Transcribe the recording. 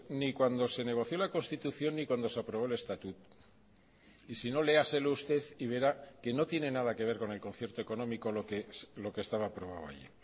ni cuando se negoció la constitución ni cuando se aprobó el estatut y si no léaselo usted y verá que no tiene nada que ver con el concierto económico lo que estaba aprobado allí